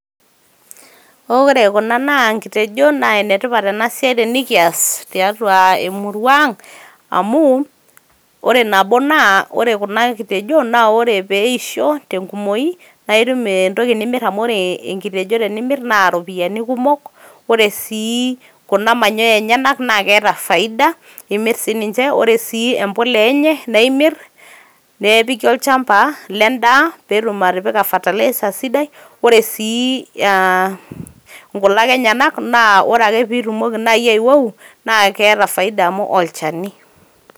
oore kuna naa nkitejon naa enetipat ena siai tenikias tiatua emurua ang amu ore nabo naa ore kuna kitejon naa peisho tenkumoi naa itum entoki nimir amu ore enkitejo tenimir naa iropiyiani kumok ,ore sii kuna manyoya enyenyak tenimirr naa keeta faida imir sininche ore sii empulia enye naa imir nepiki olchamba ledaa petum atipika ferilizer sidai .ore sii aa nkulak enyenak naa ore nai pitumoki nai aiwou naa keeta faida amu olchani .